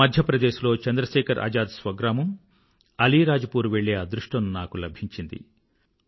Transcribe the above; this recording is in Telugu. మధ్య ప్రదేశ్ లో చంద్రశేఖర్ ఆజాద్ స్వగ్రామం అలీరాజ్ పూర్ వెళ్ళే అదృష్టం నాకు లభించింది